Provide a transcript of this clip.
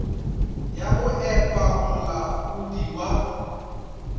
ya go epa molaodi wa